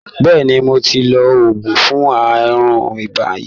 Bẹ́ẹ̀ni, mo ti lo oògùn fún àrùn ibà yìí.